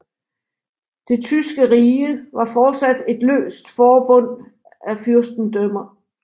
Det tyske rige var fortsat et løst forbund af fyrstendømmer